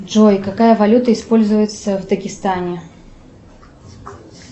джой какая валюта используется в дагестане